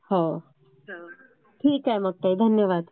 ठीक आहे मग ताई, धन्यवाद!